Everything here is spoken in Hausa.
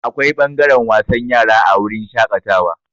Akwai ɓangaren wasan yara a wurin shaƙatawa.